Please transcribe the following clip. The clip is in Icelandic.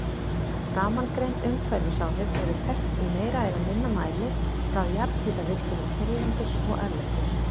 Framangreind umhverfisáhrif eru þekkt í meira eða minna mæli frá jarðhitavirkjunum hérlendis og erlendis.